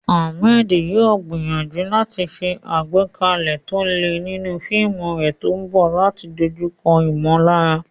Ahmed yóò gbìyànjú láti ṣe àgbékalẹ̀ tó le nínú fíìmù rẹ̀ tó ń bọ̀ láti dojúkọ ìmọ̀lára.